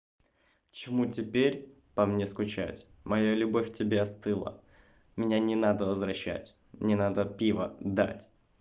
чему теперь по мне скучать моя любовь тебе остыла меня не надо возвращать не надо пиво дать